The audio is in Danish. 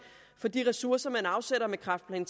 for de ressourcer man afsætter med kræftplan